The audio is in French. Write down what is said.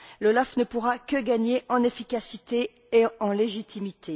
L'OLAF ne pourra qu'y gagner en efficacité et en légitimité.